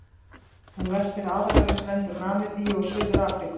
Hún verpir aðallega við strendur Namibíu og Suður-Afríku.